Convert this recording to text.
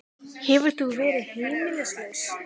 Hefur þú verið heimilislaus?